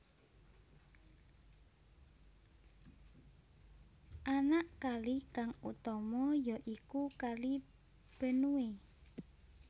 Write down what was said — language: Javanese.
Anak kali kang utama ya iku Kali Benue